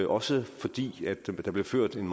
også fordi der bliver ført en